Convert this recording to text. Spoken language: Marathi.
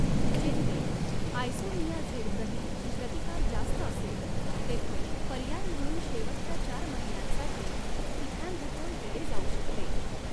जेथे आयसोनियाझिडप्रती प्रतिकार जास्त असेल तेथे पर्याय म्हणून शेवटच्या चार महिन्यांसाठी इथॅम्बुटोल दिले जाऊ शकते.